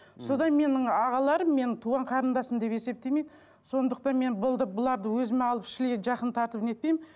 содан менің ағаларым мені туған қарындасым деп есептемейді сондықтан мен бұларды өзіме алып шли жақын тартып не етпеймін